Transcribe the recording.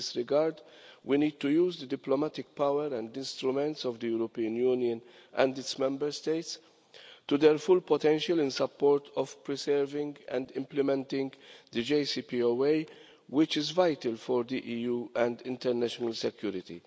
In this regard, we need to use the diplomatic power and instruments of the European Union and its Member States to their full potential in support of preserving and implementing the JCPOA, which is vital for the EU and international security.